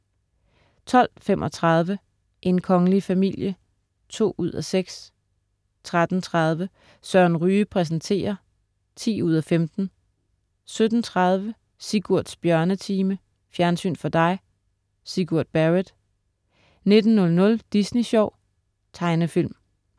12.35 En kongelig familie 2:6* 13.30 Søren Ryge præsenterer 10:15* 17.30 Sigurds Bjørnetime. Fjernsyn for dig. Sigurd Barrett 19.00 Disney Sjov. Tegnefilm